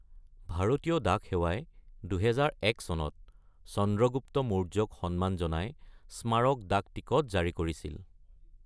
ভাৰতীয় ডাক সেৱাই ২০০১ চনত চন্দ্ৰগুপ্ত মৌৰ্যক সন্মান জনাই স্মাৰক ডাকটিকট জাৰি কৰিছিল।